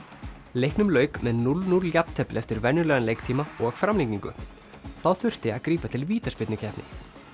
leiknum lauk með núll til núll jafntefli eftir venjulegan leiktíma og framlengingu þá þurfti að grípa til vítaspyrnukeppni